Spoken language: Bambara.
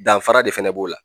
Danfara de fana b'o la.